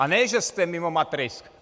A ne že jste mimo matrix.